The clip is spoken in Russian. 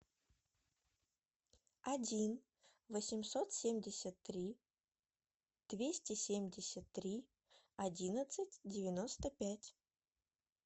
один восемьсот семьдесят три двести семьдесят три одиннадцать девяносто пять